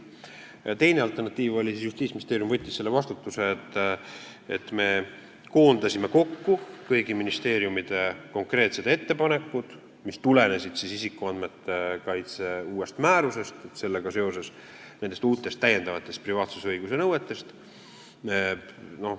Alternatiiv oli see, et Justiitsministeerium võttis vastutuse ja me koondasime kokku kõigi ministeeriumide konkreetsed ettepanekud, mis tulenesid isikuandmete kaitse uuest määrusest ja sellega seoses uutest täiendavatest privaatsusõiguse nõuetest.